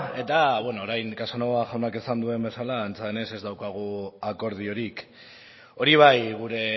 eta orain casanova jaunak esan duen bezala antza denez ez daukagu akordiorik hori bai gure